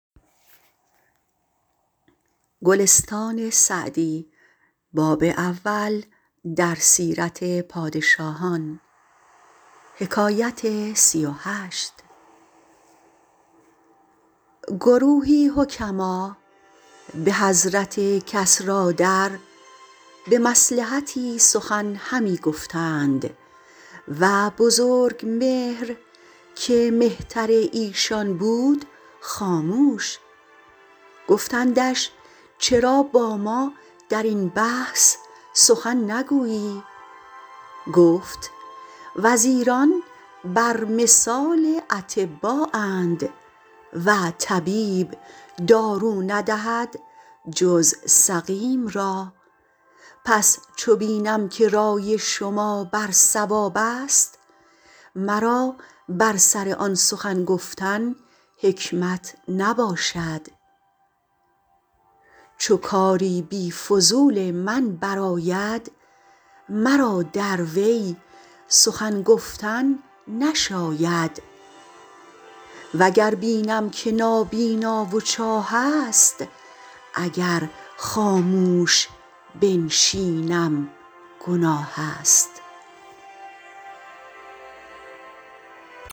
گروهی حکما به حضرت کسریٰ در به مصلحتی سخن همی گفتند و بزرگمهر که مهتر ایشان بود خاموش گفتندش چرا با ما در این بحث سخن نگویی گفت وزیران بر مثال اطبااند و طبیب دارو ندهد جز سقیم را پس چو بینم که رای شما بر صواب است مرا بر سر آن سخن گفتن حکمت نباشد چو کاری بی فضول من بر آید مرا در وی سخن گفتن نشاید و گر بینم که نابینا و چاه است اگر خاموش بنشینم گناه است